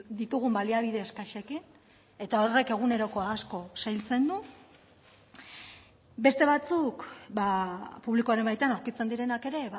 ditugun baliabide eskasekin eta horrek egunerokoa asko zailtzen du beste batzuk publikoaren baitan aurkitzen direnak ere